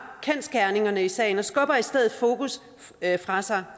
kendsgerningerne i sagen og skubber i stedet fokus fra sig